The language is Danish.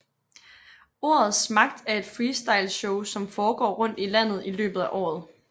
Ordets magt er et Freestyle show som foregår rundt i landet i løbet af året